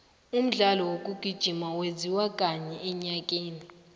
umdlalo wokugijima wenziwa kanye enyakeni